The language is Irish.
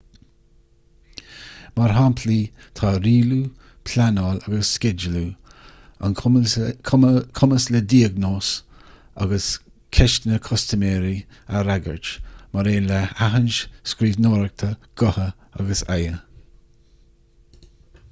mar shamplaí tá rialú pleanáil agus sceidealú an cumas le diagnóis agus ceisteanna custaiméirí a fhreagairt mar aon le haithint scríbhneoireachta gutha agus aghaidhe